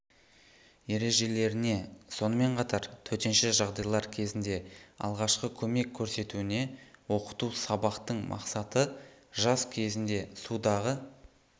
ережелеріне сонымен қатар төтенше жағдайлар кезінде алғашқы көмек көрсетуіне оқыту сабақтың мақсаты жаз кезінде судағы